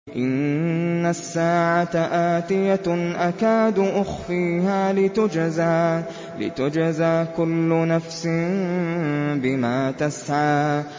إِنَّ السَّاعَةَ آتِيَةٌ أَكَادُ أُخْفِيهَا لِتُجْزَىٰ كُلُّ نَفْسٍ بِمَا تَسْعَىٰ